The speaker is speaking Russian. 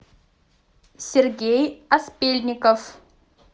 сергей аспельников